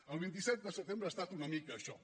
el vint set de setembre ha estat una mica això